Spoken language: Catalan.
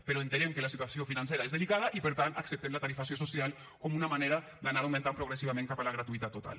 però entenem que la situació financera és delicada i per tant acceptem la tarifació social com una manera d’anar augmentant progressivament cap a la gratuïtat total